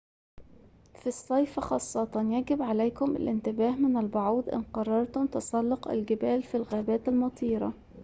في الصيف خاصة يجب عليكم الانتباه من البعوض إن قررتم تسلق الجبال في الغابات المطيرة